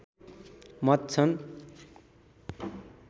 मत छन्